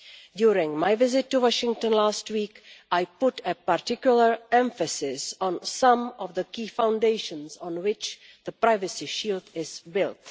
During my visit to Washington last week, I put a particular emphasis on some of the key foundations on which the privacy shield is built.